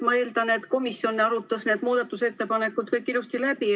Ma eeldan, et komisjon arutas need muudatusettepanekud kõik ilusti läbi.